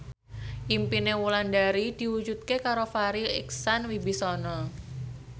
impine Wulandari diwujudke karo Farri Icksan Wibisana